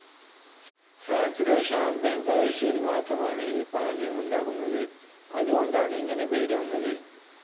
ഫ്രാൻസിലെ ഷാം‌പെയ്‌ൻ പ്രവിശ്യയിൽ മാത്രമാണ് ഈ പാനീയമുണ്ടാക്കുന്നത്.അതുകൊണ്ടാണ് ഇങ്ങനെ പേരു വന്നത്.